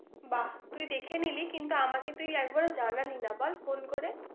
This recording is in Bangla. বাহ! তুই দেখে নিলি, কিন্তু আমাকে তুই একবারও জানালি না বল, phone করে?